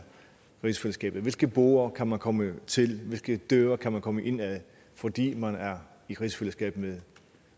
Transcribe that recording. rigsfællesskabet hvilke borde kan man komme til hvilke døre kan man komme ind af fordi man er i rigsfællesskab